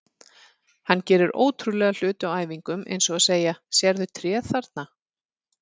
Hann gerir ótrúlega hluti á æfingum eins og að segja: Sérðu tréð þarna?